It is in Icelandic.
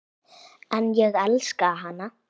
En ég elska hana.